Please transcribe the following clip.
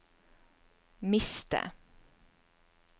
miste